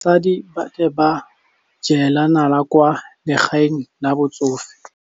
Basadi ba ne ba jela nala kwaa legaeng la batsofe.